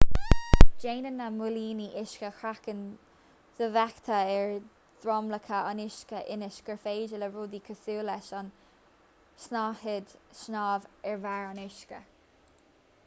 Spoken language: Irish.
déanann na móilíní uisce craiceann dofheicthe ar dhromchla an uisce ionas gur féidir le rudaí cosúil leis an tsnáthaid snámh ar bharr an uisce